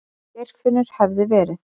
Geirfinnur hefði verið.